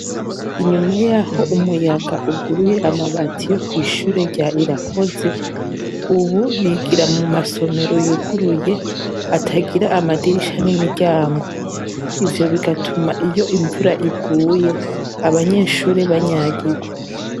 Inyuma y'aho umuyaga uguruye amabati yo kw' ishuri rya irakoze, ubu bigira mu masomero yuguruye, atagira amadirisha n'imiryango. Ivyo bigatuma iyo imvura iguye abanyeshuri banyagirwa.